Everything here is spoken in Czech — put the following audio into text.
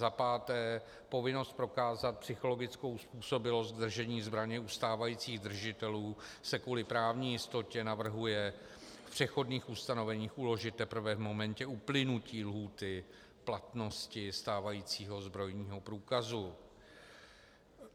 Za páté, povinnost prokázat psychologickou způsobilost držení zbraně u stávajících držitelů se kvůli právní jistotě navrhuje v přechodných ustanoveních uložit teprve v momentě uplynutí lhůty platnosti stávajícího zbrojního průkazu.